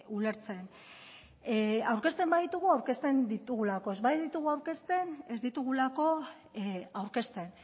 ulertzen aurkezten baditugu aurkezten ditugulako ez baditugu aurkezten ez ditugulako aurkezten